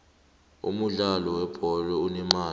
umudlalo we bholo unemali